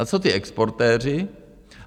A co ti exportéři?